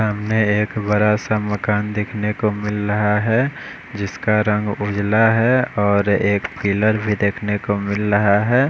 सामने एक बड़ा सा मकान देखने को मिल रहा है जिसका रंग उजला है और एक पिलर भी देखने को मिल रहा है।